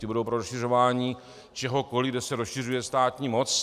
Ti budou pro rozšiřování čehokoli, kde se rozšiřuje státní moc.